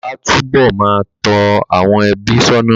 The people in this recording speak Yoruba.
Bàbá á tú bọ̀ máa tó àwọn ẹbí sónà